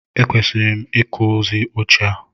E kwesịrị m ị kụzi oche a.